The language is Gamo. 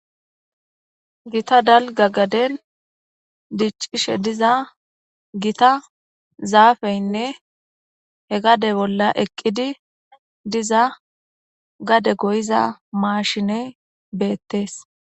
Gitta daligga gaddeni diccishe diza zafeyinne he gadde bolla eqiddi dizza gade goyizza mashineyi bettesi